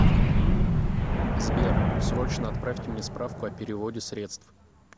сбер срочно отправьте мне справку о переводе средств